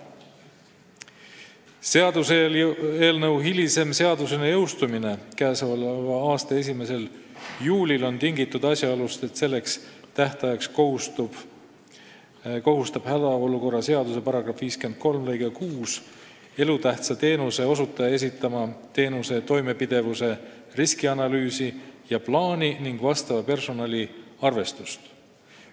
Seaduseelnõu hilisem seadusena jõustumine k.a 1. juulil on tingitud asjaolust, et selleks tähtajaks kohustab hädaolukorra seaduse § 53 lõige 6 elutähtsa teenuse osutajat esitama teenuse toimepidevuse riskianalüüsi ja plaani ning vastava personali arvestuse.